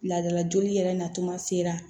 Laadala joli yɛrɛ natuma sera